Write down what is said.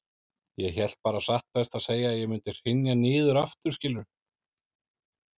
Ég hélt bara satt best að segja að ég mundi hrynja niður aftur, skilurðu.